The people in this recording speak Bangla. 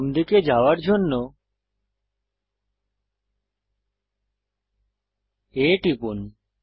বাম দিকে যাওয়ার জন্য A টিপুন